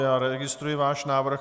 Já registruji váš návrh.